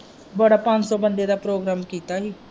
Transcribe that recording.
ਬੜਾ ਪੰਜ ਸੋ ਬੰਦੇ ਦਾ program ਕੀਤਾ ਹੀ।